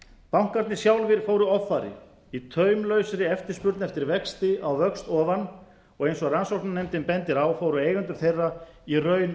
bankarnir sjálfir fóru offari í taumlausri eftirspurn eftir vexti á vöxt ofan og eins og rannsóknarnefndin bendir á fóru eigendur þeirra í raun